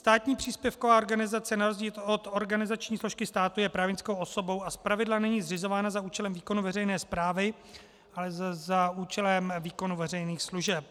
Státní příspěvková organizace na rozdíl od organizační složky státu je právnickou osobou a zpravidla není zřizována za účelem výkonu veřejné správy, ale za účelem výkonu veřejných služeb.